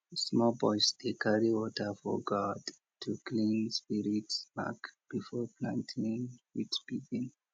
small boys dey carry water for gourd to clean spirit mark before planting fit begin